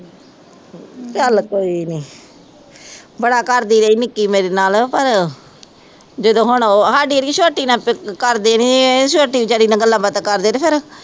ਚੱਲ ਕੋਈ ਨਹੀਂ, ਬੜਾ ਕਰਦੀ ਰਹੀ, ਨਿੱਕੀ ਮੇਰੇ ਨਾਲ, ਪਰ, ਜਦੋ ਹੁਣ ਉਹ ਸਾਡੀ ਵਾਲੀ ਛੋਟੀ ਨਾਲ ਕਰਦੇ ਨਹੀਂ, ਇਹ ਛੋਟੀ ਬੇਚਾਰੀ ਨਾਲ ਗੱਲਾਂ-ਬਾਤਾਂ ਕਰਦੇ ਤੇ ਫੇਰ